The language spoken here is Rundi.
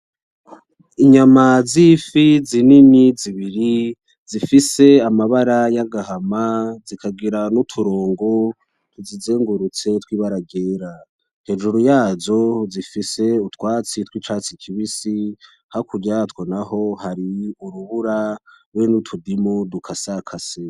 Inyama z'ifi zinini zibiri, zifise amabara y'agahama zikagira n'uturongo tuzizungurutse tw'ibara ryera. Hejuru yazo zifise utwatsi tw'icatsi kibisi hakurya yatwo naho har'urubura hamwe n'utudimu dukasakase.